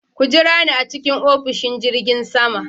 Ku jira ni a cikin ofishin jirgin sama.